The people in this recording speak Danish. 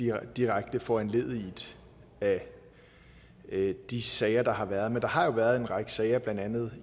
er direkte foranlediget af de sager der har været men der har jo været en række sager blandt andet